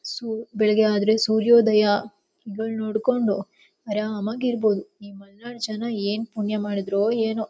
ಸು ಬೆಳಗ್ಗೆ ಆದ್ರೆ ಸೂರ್ಯೋದಯಗಳನು ನೋಡಕೊಂಡ ಆರಾಮ ಆಗಿ ಇರಬಹುದು ಈ ಮಲ್ನಾಡ್ ಜನ ಏನ್ ಪುಣ್ಯ ಮಾಡಿದ್ರೋ ಏನೋ.